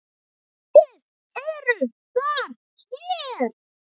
VIÐ ERUM ÞAR HÉR